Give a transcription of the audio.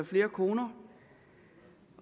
flere koner